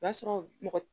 O b'a sɔrɔ mɔgɔ